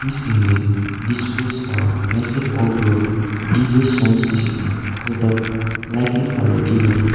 this image displays a massive outdoor D_J sound system set up likely for an event.